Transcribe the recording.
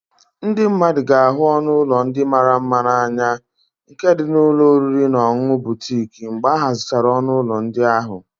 Ndị mmadụ ga-ahụ ọnụ ụlọ ndị mara mma n'anya nke dị n'ụlọ oriri na ọṅụṅụ butiik mgbe ahazichara ọnụ ụlọ ndị ahụ